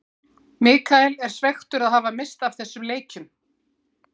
Michael er svekktur að hafa misst af þessum leikjum.